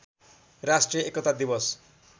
राष्ट्रिय एकता दिवस